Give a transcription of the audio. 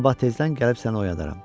Sabah tezdən gəlib səni oyadaram.